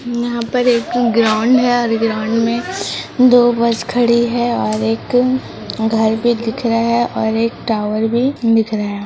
यहां पर एक ग्राउंड है और ग्राउंड में दो बस खड़ी है और एक घर भी दिख रहा है और एक टावर भी दिख रहा है।